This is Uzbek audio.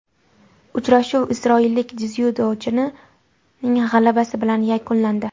Uchrashuv isroillik dzyudochining g‘alabasi bilan yakunlandi.